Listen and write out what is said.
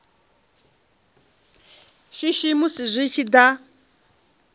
shishi musi zwi tshi da